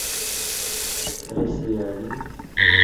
россия один